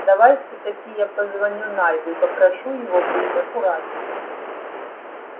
давай всё-таки я позвоню найду и попрошу его быть аккуратнее